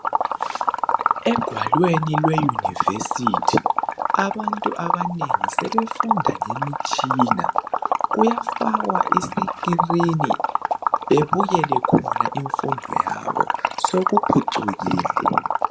Egwalweni lwe university abantu abanengi sebefunda ngemitshina kuyafakwa i screen bebukele khona imfundo yabo sekuphucukile.